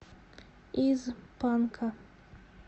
из панка